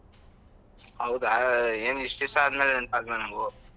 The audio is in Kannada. ಹೌದಾ, ಏನು ಇಷ್ಟು ದಿವ್ಸ ಆದ್ಮೇಲೆ ನೆನ್ಪಾದ್ವ ನಾವು.